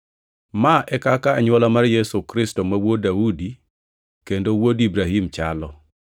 Ma e kaka anywola mar Yesu Kristo ma wuod Daudi kendo wuod Ibrahim chalo: